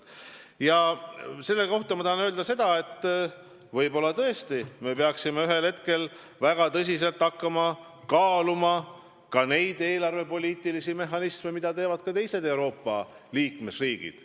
Selle kohta ma tahan öelda, et võib-olla tõesti me peaksime väga tõsiselt hakkama kaaluma neid eelarvepoliitilisi mehhanisme, mida kasutavad teised Euroopa Liidu liikmesriigid.